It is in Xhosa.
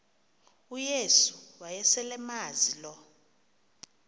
uyesu wayeselemazi lo